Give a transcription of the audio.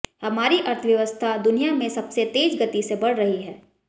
हमारी अर्थव्यवस्था दुनिया में सबसे तेज गति से बढ़ रही है